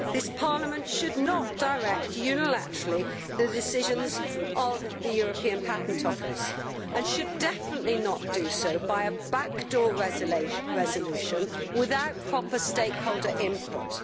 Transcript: This Parliament should not direct unilaterally the decisions of the European Patent Office and should definitely not do so by means of a backdoor resolution, without proper stakeholder input.